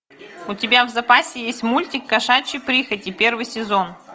у тебя в запасе есть мультик кошачьи прихоти первый сезон